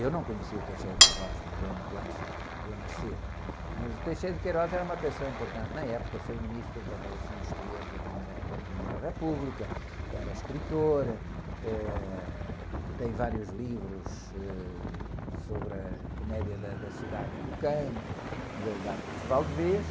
Eu não conheci o, morreu muito antes de, de eu nascer, mas o era uma pessoa importante na época, foi Ministro das Relações Exteriores da Primeira, da Primeira República, era escritor, eh, tem vários livros, ãh... Sobre a comédia da, da cidade e do campo, de, dos Arcos de Valdevez,